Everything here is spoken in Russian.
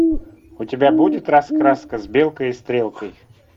у тебя будет раскраска с белкой и стрелкой